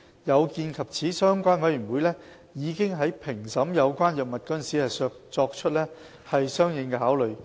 有見及此，相關委員會已在評審有關藥物時作出相應考慮。